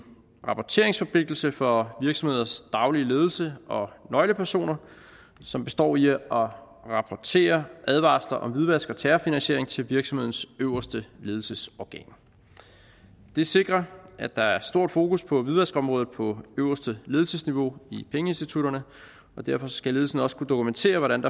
rapporteringsforpligtelse for virksomheders daglige ledelse og nøglepersoner som består i at rapportere advarsler om hvidvask og terrorfinansiering til virksomhedens øverste ledelsesorgan det sikrer at der er stort fokus på hvidvaskområdet på øverste ledelsesniveau i pengeinstitutterne og derfor skal ledelsen også kunne dokumentere hvordan